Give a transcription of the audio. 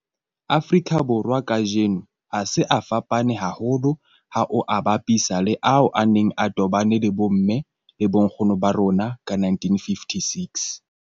Afrika Borwa kajeno a se a fapane haholo ha o a bapisa le ao a neng a tobane le bomme le bonkgono ba rona ka 1956.